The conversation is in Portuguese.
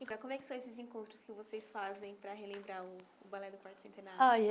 como é que são esses encontros que vocês fazem para relembrar o o Ballet do Quarto Centenário? olha